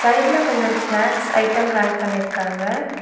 சைடுல கொஞ்சம் snacks item hang பண்ணிருக்காங்க.